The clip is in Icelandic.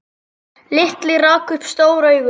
Lilli rak upp stór augu.